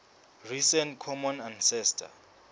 recent common ancestor